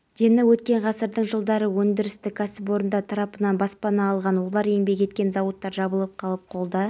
аға инженерлерімізді оқытуды бастадық сонымен осы айдың ішінде эни корпоративтік университетінде біздің аға инжинерлеріміз оқыды қазіргі